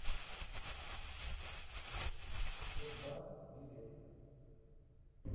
сур бар билет